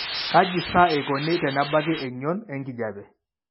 Kaji sa eikoni tenebaki eng'ion enkijiape?